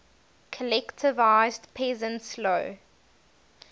collectivized peasants low